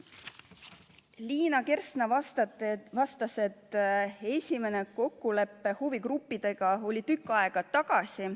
Liina Kersna vastas, et esimene kokkulepe huvigruppidega oli tükk aega tagasi.